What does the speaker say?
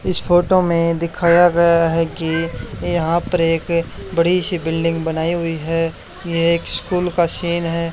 इस फोटो में दिखाया गया है कि यहां पर एक बड़ी सी बिल्डिंग बनाई हुई है ये एक स्कूल का सीन है।